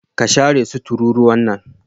ka share su tururuwan nan.